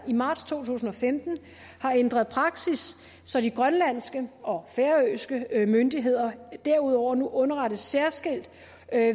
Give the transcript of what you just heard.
i marts to tusind og femten har ændret praksis så de grønlandske og færøske myndigheder derudover nu underrettes særskilt